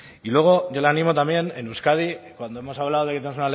y luego yo le animo también en euskadi cuando hemos hablado de